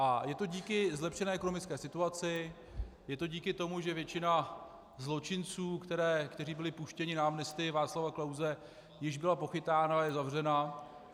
A je to díky zlepšené ekonomické situaci, je to díky tomu, že většina zločinců, kteří byli puštěni na amnestii Václava Klause, již byla pochytána a je zavřena.